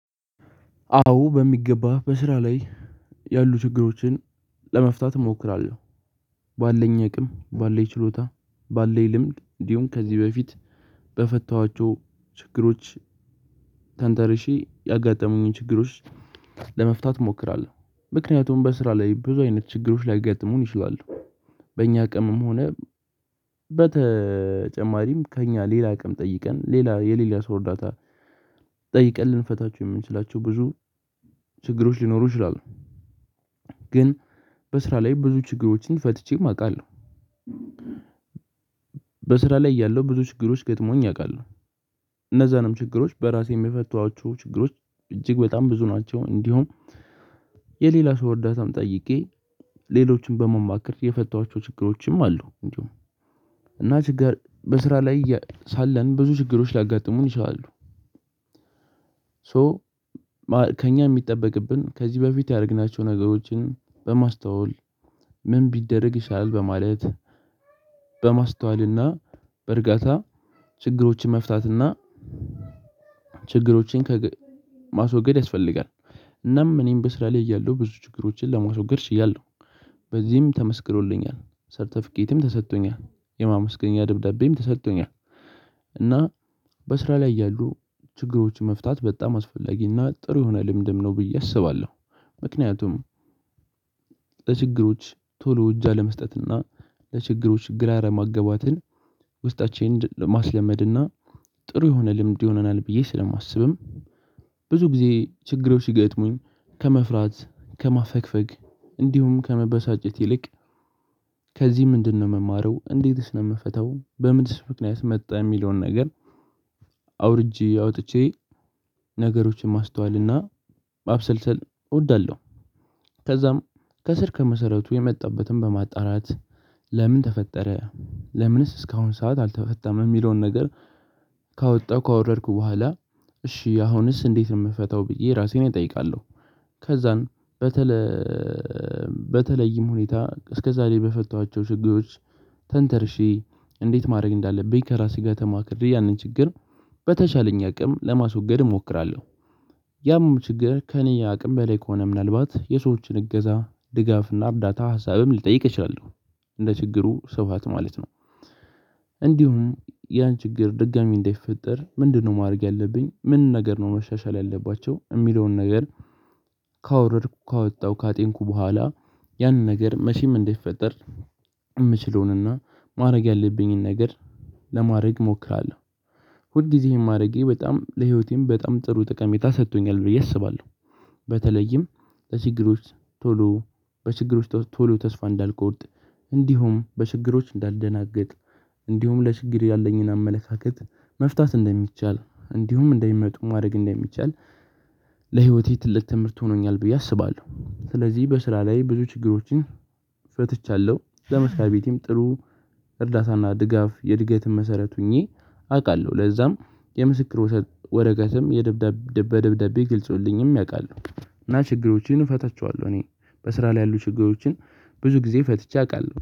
አዎ በሚገባ በስራ ላይ ያሉ ችግሮችን ለመፍታት እሞክራለሁ ባለኝ አቅም ባለኝ ችሎታ ባለኝ ልምድ እንዲሁም ከዚህ በፊት በፈታኋቸው ችግሮች ተንተርሼ ያጋጠሙኝን ችግሮች ለመፍታት እሞክራለሁ። ምክንያቱም በስራ ላይ ብዙ አይነት ችግሮች ሊይጋጥሙን ይችላሉ በእኛ አቅምም ሆነ በተጨማሪም ከእኛ ሌላ አቅም ጠይቀን ሌላ የሌላ ሰው እርዳታ ጠይቀን ልንፈታቸው የምንችላቸው ብዙ ችግሮች ሊኖሩ ይችላሉ ግን በስራ ላይ ብዙ ችግሮችን ፈትቼም አውቃለሁ። በስራ ላይ እያለሁ ብዙ ችግሮች ገጥመውኝ አውቃለሁ። እነዛንም ችግሮች በራሴም የፈታኋቸው ችግሮች እጅግ በጣም ብዙ ናቸው እንዲሁም የሌላ ሰው እርዳታም ጠይቄ ሌሎችን በመማከር የፈታኋቸው ችግሮችም አሉ እንዲሁም እና ችጋር በስራ ላይ ሳለን ብዙ ችግሮች ላጋጥሙን ይችላሉ ሶ ከእኛ የሚጠበቅብን ከዚህ በፊት ያደረግናቸውን ነገሮችን በማስተዋል ምን ቢደረግ ይሻላል በማለት በማስተዋልና በእርጋታ ችግሮችን መፍታትና ችግሮችን ማስወገድ ያስፈልጋል። እናም እኔም በስራ ላይ እያለሁ ብዙ ችግሮችን ለማስወገድ ችያለሁ። በዚህም ተመስክሮልኛል። ሰርተፊኬትም ተሰጥቶኛል። የማመስገኛ ድብዳቤም ተሰጥቶኛል እና በስራ ላይ ያሉ ችግሮችን መፍታት በጣም አስፈላጊና ጥሩ የሆነ ልምድም ነው ብዬ አስባለሁ ምክንያቱም ለችግሮች ቶሎ እጅ አለመስጠት እና ለችግሮች ግራ አለመጋባትን ውስጣችንን ማስለመድ እና ጥሩ የሆነ ልምድ ይሆነናል ብዬ ስለማስብም ብዙ ጊዜ ችግሮች ሲገጥሙኝ ከመፍራት ከማፈግፈግ እንዲሁም ከመበሳጨት ይልቅ ከዚህ ምንድነው የምማረው እንዴትስ ነው የምፈታው በምንስ ምክንያት መጣ የሚለውን ነገር አውርጄ አውጥቼ ነገሮችን ማስተዋልና ማብሰልሰል እወዳለሁ። ከዛም ከስር ከመሰረቱ የመጣበትን በማጣራት ለምን ተፈጠረ ለምንስ እስካሁን ሰዓት አልተፈታም የሚለውን ነገር ካወጣሁ ካወረድኩ በኋላ እሺ አሁንስ እንዴት ነው የምፈታው ብዬ ራሴን እጠይቃለሁ ከዛን በተለይም ሁኔታ እስከዛሬ በፈታኋቸው ችግሮች ተንተርሼ እንዴት ማድረግ እንዳለብኝ ከራሴጋ ተማክሬ ያንን ችግር በተቻለኝ አቅም ለማስወገድ እሞክራለሁ ያም ችግር ከእኔ አቅም በላይ ከሆነ ምናልባት የሰዎችን እገዛ ድጋፍና እርዳታ ሀሳብም ልጠይቅ እችላለሁ እንደ ችግሩ ስፋት ማለት ነው እንዲሁም ያን ችግር ድጋሚ እንዳይፈጠር ምንድነው ማድረግ ያለብኝ ምን ነገር ነው መሻሻል ያለባቸው የሚለውን ነገር ካወረድኩ ካወጣሁ ካጤንኩ በኋላ ያንን ነገር መቼም እንዳይፈጠር የምችለውንና ማድረግ ያለብኝን ነገር ለማድረግ እሞክራለሁ ሁል ጊዜ ይሄን ማድረጌ በጣም ለህይወቴም በጣም ጥሩ ጠቀሜታ ሰጥቶኛል ብዬ አስባለሁ በተለይም በችግሮች ቶሎ በችግሮች ቶሎ ተስፋ እንዳልቆርጥ እንዲሁም በችግሮች እንዳልደናግጥ እንዲሁም ለችግር ያለኝን አመለካከት መፍታት እንደሚቻል እንዲሁም እንደሚመጡ ማድረግ እንደሚቻል ለህይወቴ ትልቅ ትምህርት ሆኖኛል ብዬ አስባለሁ። ስለዚህ በስራ ላይ ብዙ ችግሮችን ፈትቻለሁ ለመስሪያ ቤቴም ጥሩ እርዳታና ድጋፍ የእድገትም መሰረት ሆኜ አውቃለሁ። ለዛም የምስክር ውሰት ወረቀትም የደብዳቤ በደብደቤ ገልጸውልኝም ያውቃሉ እና ችግሮችን እፈታቸዋለሁ እኔ በስራ ላይ ያሉ ችግሮችን ብዙ ጊዜ ፈትቼ አውቃለሁ